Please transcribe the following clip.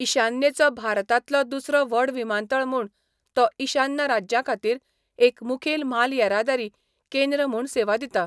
ईशान्येचो भारतांतलो दुसरो व्हड विमानतळ म्हूण, तो ईशान्य राज्यांखातीर एक मुखेल म्हाल येरादारी केंद्र म्हूण सेवा दिता.